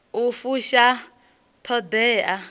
u fusha t hod ea